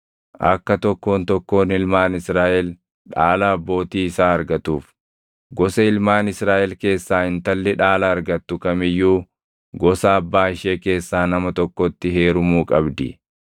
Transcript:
Akka tokkoon tokkoon ilmaan Israaʼel dhaala abbootii isaa argatuuf, gosa ilmaan Israaʼel keessaa intalli dhaala argattu kam iyyuu gosa abbaa ishee keessaa nama tokkotti heerumuu qabdi.